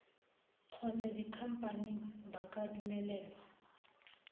kgotsa dikhamphane ba ka dumelelwa